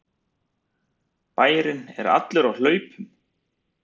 Bærinn er allur á hlaupum!